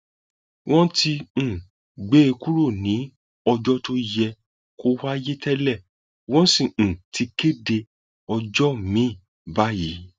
wọn ti um gbé e kúrò ní ọjọ tó yẹ kó wáyé tẹlẹ wọn sì um ti kéde ọjọ miín báyìí